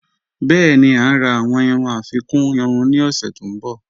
Bẹẹ̀ni, à ǹ rà awọn irú afikún irú ni ọ̀ṣẹ̀ tó nbọ̀.